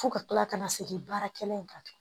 Fo ka kila ka na segin baarakɛla in kan